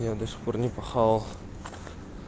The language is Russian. я до сих пор не поел